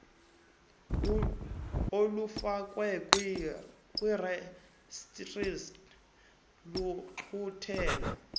olufakwe kurejistra luqulathe